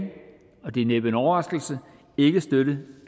og det er næppe en overraskelse ikke støtte